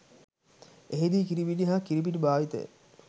එහි දී කිරිපිටි හා කිරිපිටි භාවිතය